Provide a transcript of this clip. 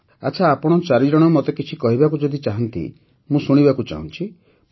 ଆଚ୍ଛା ଆପଣ ଚାରିଜଣ ମତେ କିଛି କହିବାକୁ ଯଦି ଚାହାନ୍ତି ମୁଁ ଶୁଣିବାକୁ ଚାହୁଁଛି